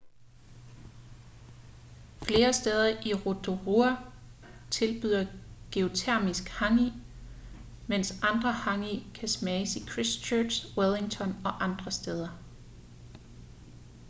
flere steder i rotorua tilbyder geotermisk hangi mens andre hangi kan smages i christchurch wellington og andre steder